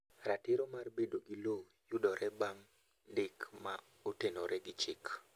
Ratiro mar bedo gi lowo yudore bang' ndik ma otenore gi chiki